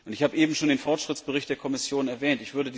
Ich habe eben schon den Fortschrittsbericht der Kommission erwähnt.